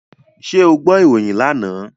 Ṣé o gbọ́ ìròyìn lánàá?